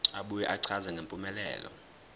abuye achaze ngempumelelo